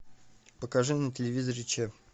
покажи на телевизоре че